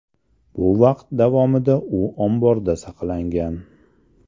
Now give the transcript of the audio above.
Bu vaqt davomida u omborda saqlangan.